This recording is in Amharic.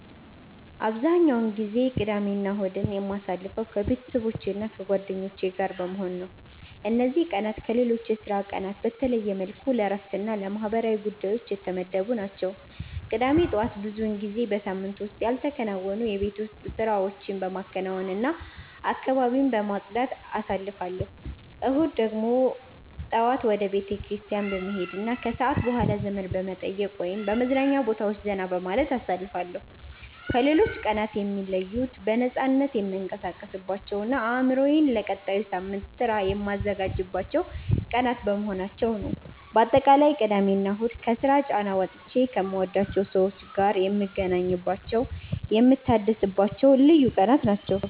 አብዛኛውን ጊዜ ቅዳሜና እሁድን የማሳልፈው ከቤተሰቦቼና ከጓደኞቼ ጋር በመሆን ነው። እነዚህ ቀናት ከሌሎች የሥራ ቀናት በተለየ መልኩ ለእረፍትና ለማህበራዊ ጉዳዮች የተመደቡ ናቸው። ቅዳሜ ጠዋት ብዙውን ጊዜ በሳምንቱ ውስጥ ያልተከናወኑ የቤት ውስጥ ስራዎችን በማከናወንና አካባቢን በማጽዳት አሳልፋለሁ። እሁድ ደግሞ ጠዋት ወደ ቤተክርስቲያን በመሄድና ከሰዓት በኋላ ዘመድ በመጠየቅ ወይም በመዝናኛ ቦታዎች ዘና በማለት አሳልፋለሁ። ከሌሎች ቀናት የሚለዩት በነፃነት የምንቀሳቀስባቸውና አእምሮዬን ለቀጣዩ ሳምንት ሥራ የማዘጋጅባቸው ቀናት በመሆናቸው ነው። ባጠቃላይ ቅዳሜና እሁድ ከስራ ጫና ወጥቼ ከምወዳቸው ሰዎች ጋር የምገናኝባቸውና የምታደስባቸው ልዩ ቀናት ናቸው።